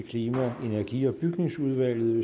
klima energi og bygningsudvalget